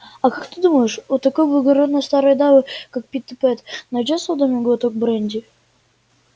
а как ты думаешь у такой благородной старой дамы как питтипэт найдётся в доме глоток бренди